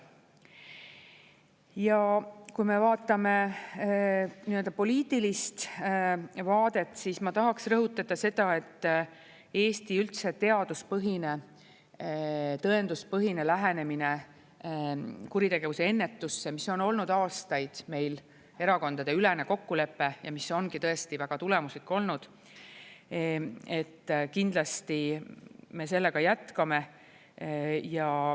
Ja kui me vaatame poliitilist vaadet, siis ma tahaksin rõhutada seda, et Eesti üldse teaduspõhine ja tõenduspõhine lähenemine kuritegevuse ennetusse, mis on olnud aastaid meil erakondadeülene kokkulepe ja mis ongi tõesti väga tulemuslik olnud, kindlasti me sellega jätkame.